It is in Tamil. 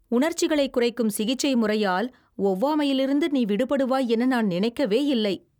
உணர்ச்சிகளைக் குறைக்கும் சிகிச்சை முறையால் ஒவ்வாமையிலிருந்து நீ விடுபடுவாய் என நான் நினைக்கவேயில்லை.